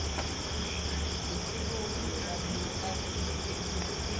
sikhulumi lokabuye abe